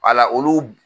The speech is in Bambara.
Wala olu